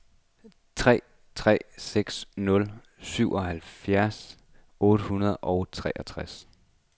tre tre seks nul syvoghalvfjerds otte hundrede og treogtres